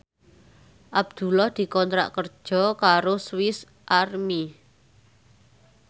Abdullah dikontrak kerja karo Swis Army